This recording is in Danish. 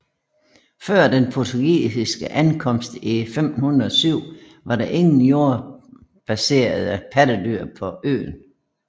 Før den portugisiske ankomst i 1507 var der ingen jordbaserede pattedyr på øen